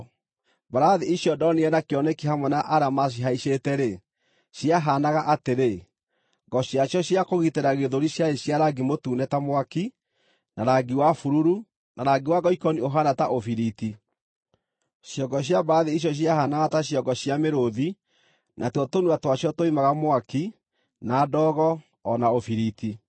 Mbarathi icio ndonire na kĩoneki hamwe na arĩa macihaicĩte-rĩ, ciahaanaga atĩrĩ: Ngo ciacio cia kũgitĩra gĩthũri ciarĩ cia rangi mũtune ta mwaki, na rangi wa bururu, na rangi wa ngoikoni ũhaana ta ũbiriti. Ciongo cia mbarathi icio ciahaanaga ta ciongo cia mĩrũũthi, natuo tũnua twacio twoimaga mwaki, na ndogo, o na ũbiriti.